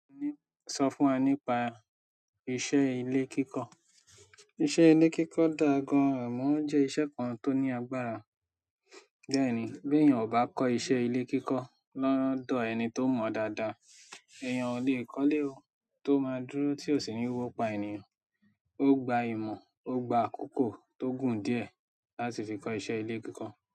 Sọ fún wa nípa iṣẹ́ ilé kíkọ. Iṣẹ́ ilé kíkọ dá gan-an amọ̀ o jẹ́ iṣẹ́ kan tó ní agbára. Bẹ́ẹ̀ ni, bí èèyàn ò bá kọ́ iṣẹ́ ilé kíkọ́ lọ́wọ́ ẹni tó mọ̀ dáadáa, èèyàn o lè kọ́lé o, tó máa dúró tí ò sì ní wọ́pá ènìyàn. Ó gba ìmọ̀, ó gba àkókò tó gùn díẹ̀ láti fi kọ́ iṣẹ́ ilé kíkọ.